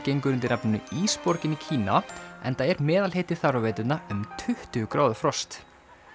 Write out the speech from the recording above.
gengur undir nafninu Ísborgin í Kína enda er meðalhiti þar á veturna um tuttugu gráðu frost